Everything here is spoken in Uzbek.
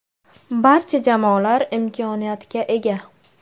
Barcha jamoalar imkoniyatga ega.